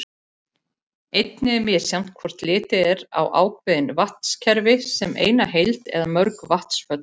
Einnig er misjafnt hvort litið er á ákveðin vatnakerfi sem eina heild eða mörg vatnsföll.